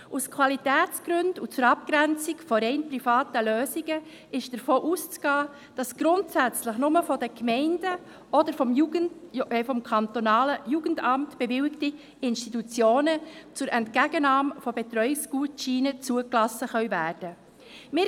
Aus Qualitätsgründen und zur Abgrenzung von rein privaten Lösungen ist davon auszugehen, dass grundsätzlich nur Institutionen, die von den Gemeinden oder vom kantonalen Jugendamt bewilligt wurden, zur Entgegennahme von Betreuungsgutscheinen zugelassen werden können.